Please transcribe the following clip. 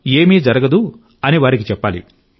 ఏమీ జరగదని వారికి చెప్పాలి